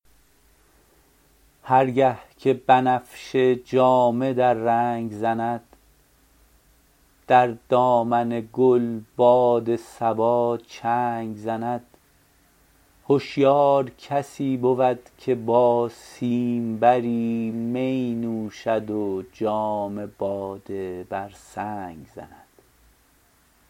هر گه که بنفشه جامه در رنگ زند در دامن گل باد صبا چنگ زند هشیار کسی بود که با سیمبری می نوشد و جام باده بر سنگ زند